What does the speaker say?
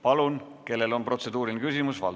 Palun, kellel on protseduuriline küsimus?